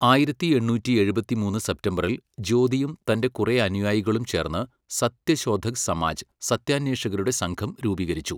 ആയിരത്തി എണ്ണൂറ്റി എഴുപത്തിമൂന്ന് സെപ്തംബറിൽ ജ്യോതിയും തൻ്റെ കുറെ അനുയായികളും ചേർന്ന് സത്യ ശോധക് സമാജ് സത്യാന്വേഷകരുടെ സംഘം രൂപീകരിച്ചു.